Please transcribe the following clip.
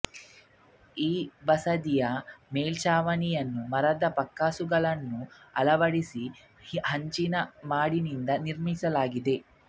ಈ ಬಸದಿಯ ಮೇಲ್ಛಾಚವಣಿಯನ್ನು ಮರದ ಪಕ್ಕಾಸುಗಳನ್ನು ಅಳವಡಿಸಿ ಹಂಚಿನ ಮಾಡಿನಿಂದ ನಿರ್ಮಿಸಲಾಗಿದೆ